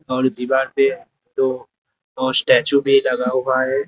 और दीवार पे दो और स्टैचू भी लगा हुआ है।